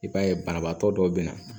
I b'a ye banabaatɔ dɔw bɛ na